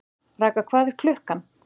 Ragga, hvað er klukkan?